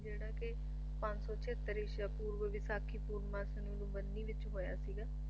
ਜਿਹੜੇ ਕੇ ਪੰਜ ਸੌ ਛੇਅੱਤਰ ਈਸ਼ਵ ਪੂਰਬ ਵਿਸਾਖੀ ਪੂਰਨਮਾਸ਼ੀ ਨੂੰ ਲੁੰਬੀਨੀ ਵਿੱਚ ਹੋਇਆ ਸੀਗਾ